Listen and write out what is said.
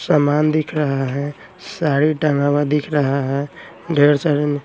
सामान दिख रहा हैं साड़ी टंगा हुआ दिख रहा हैं ढेर सारे न--